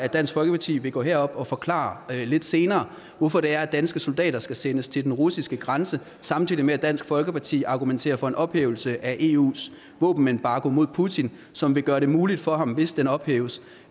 at dansk folkeparti vil gå herop og forklare lidt senere hvorfor det er at danske soldater skal sendes til den russiske grænse samtidig med at dansk folkeparti argumenterer for en ophævelse af eus våbenembargo mod putin som vil gøre det muligt for ham hvis den ophæves